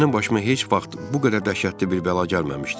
Mənim başıma heç vaxt bu qədər dəhşətli bir bəla gəlməmişdi.